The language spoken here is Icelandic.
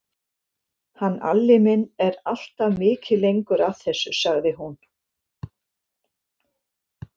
Hann Alli minn er alltaf mikið lengur að þessu, sagði hún.